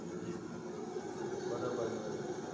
જી જી બરાબર જ હોય